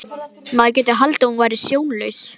Maður gæti haldið að þú værir sjónlaus!